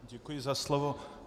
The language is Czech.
Děkuji za slovo.